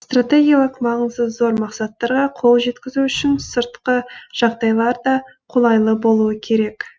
стратегиялық маңызы зор мақсаттарға қол жеткізу үшін сыртқы жағдайлар да қолайлы болуы керек